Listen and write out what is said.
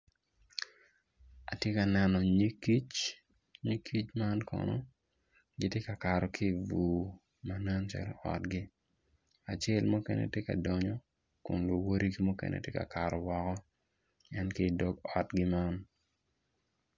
Atye ka neno nyig kic nyig kic man kono gitye ka kato ki bur ma nen calo otgi acel mukene tye ka donyo kun luwodigi mukene tye ka kato woko en ki dog otgi ma